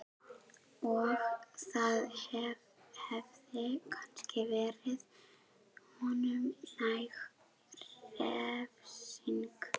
Og það hefði kannski verið honum næg refsing.